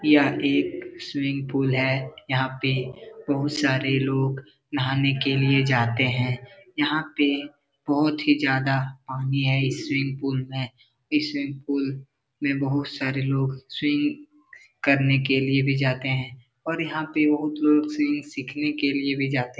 यहाँ पे एक स्विमिंग पुल है यहाँ पे बहुत सारे लोग नहाने के लिए जाते हैं यहाँ पे बहुत ही ज़्यादा पानी है इस स्विमिंग पुल में| इस स्विमिंग पुल में बहुत सारे लोग स्विंग करने के लिए भी जाते हैं और यहाँ पे बहुत लोग स्विमिंग सिखने के लिए भी जाते --